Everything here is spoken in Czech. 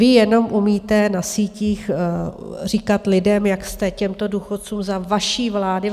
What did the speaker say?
Vy jenom umíte na sítích říkat lidem, jak jste těmto důchodcům za vaší vlády...